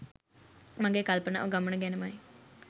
මගේ කල්පනාව ගමන ගැනමයි.